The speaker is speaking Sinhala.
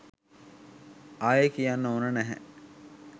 ආයේ කියන්න ඕනේ නැහැ